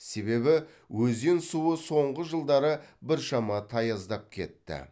себебі өзен суы соңғы жылдары біршама таяздап кетті